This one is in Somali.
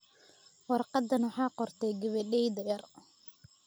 Warqadan waxaa qortay gabadhayda yar.